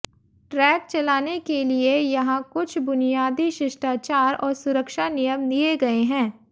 track चलाने के लिए यहां कुछ बुनियादी शिष्टाचार और सुरक्षा नियम दिए गए हैं